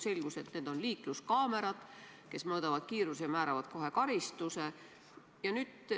Selgus, et need on liikluskaamerad, mis mõõdavad kiirust ja määravad kohe karistuse.